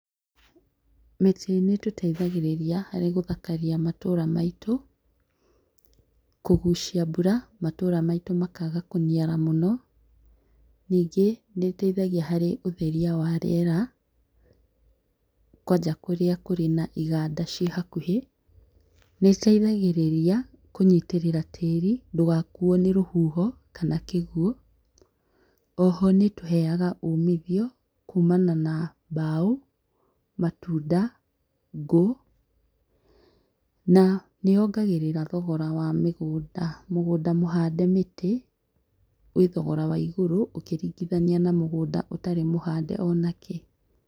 Mĩtĩ nĩ ĩtũteithagĩrĩria harĩ gũthakaria matũra maitũ, kũgũcia mbura matũra maitũ makaga kũniara mũno, ningĩ nĩ ĩteithagia harĩ ũtheria wa rĩera, kwanja kũrĩa kũrĩ na iganda cie hakuhĩ, nĩteithagĩrĩria kũnyitĩrĩra tĩri ndũgakuo nĩ rũhuho kana kĩgũo. Oho nĩtũheaga ũmithio kũmana na mbao, matunda, ngũ na nĩ yongagĩrĩra thogora wa mĩgũnda. Mũgũnda mũhande mĩtĩ wĩ wathogora wa igũrũ ũkĩringithania na mũgũnda ũtarĩ mũhande onakĩ.